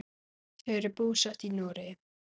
Þau eru búsett í Noregi.